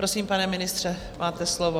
Prosím, pane ministře, máte slovo.